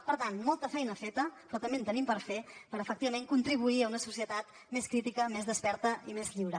per tant molta feina feta però també en tenim per fer per efectivament contribuir a una societat més crítica més desperta i més lliure